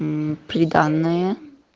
мм приданое